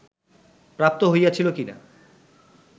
প্রাপ্ত হইয়াছিল কি না